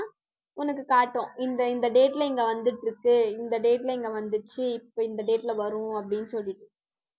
உனக்கு காட்டும். இந்த, இந்த date ல இங்க வந்துட்டு இருக்கு. இந்த date ல இங்க வந்துருச்சு. இப்ப, இந்த date ல வரும் அப்படின்னு சொல்லி